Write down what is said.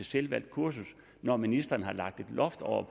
selvvalgt kursus når ministeren har lagt et loft over